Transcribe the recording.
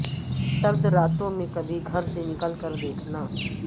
سرد راتوں میں کبھی گھر سے نکل کر دیکھنا